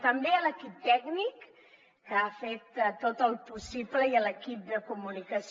també a l’equip tècnic que ha fet tot el possible i a l’equip de comunicació